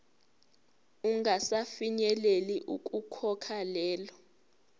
ungasafinyeleli ukukhokha lelo